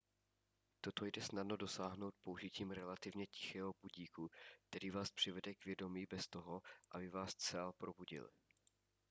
toho jde snadno dosáhnout použitím relativně tichého budíku který vás přivede k vědomí bez toho aby vás zcela probudil